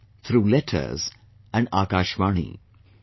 in, through letters and Akashvani